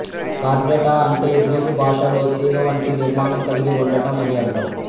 Chordata అంటే Greek భాషలో తీగవంటి నిర్మాణం కలిగి ఉండటం అని అర్థం